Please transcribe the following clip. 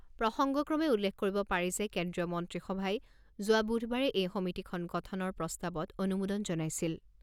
প্ৰসঙ্গক্ৰমে উল্লেখ কৰিব পাৰি যে কেন্দ্ৰীয় মন্ত্ৰীসভাই যোৱা বুধবাৰে এই সমিতিখন গঠনৰ প্ৰস্তাৱত অনুমোদন জনাইছিল।